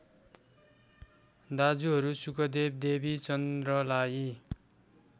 दाजुहरू शुकदेव देवीचन्द्रलाई